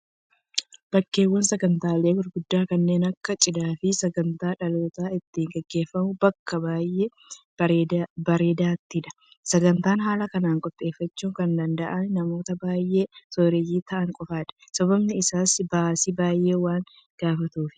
Bakkeewwan sagantaaleen gurguddaan kanneen akka cidhaa fi sagantaa dhalootaa itti gaggeeffamu bakka baay'ee bareedaattidha, Sagantaa haala kanaan qopheeffachuu kan danda'anis namootaa baay'ee sooreyyii ta'an qofaadha. Sababni isaas baasii baay'ee waan gaafatuufi.